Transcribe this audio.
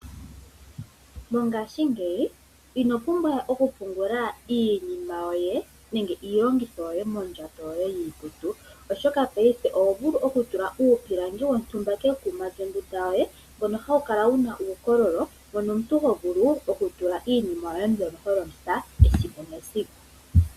Mongashingeyi ino pumbwa oku pungula iinima yoye nenge iilongitho yoye mondjato yoye yiikutu, oshoka paife oho vulu oku tula uupilangi wontumba kekuma lyondunda yoye mbono hawu kala wuna uukololo mbono omuntu ho vulu oku tula iinima yoye mbyono ho longitha esiku nesiku.